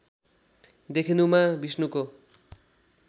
देखिनुमा विष्णुको